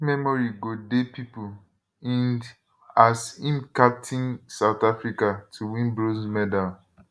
dis memory go dey pipo ind as im also captain south africa to win bronze medal